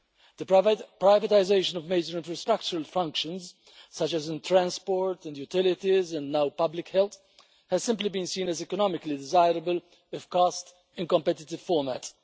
The privatisation of major infrastructural functions, such as in transport and utilities and now public health, has simply been seen as economically desirable if cast in competitive format.